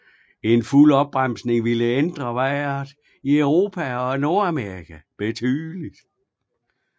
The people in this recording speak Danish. En fuld opbremsning ville ændre vejret i Europa og Nordamerika betydeligt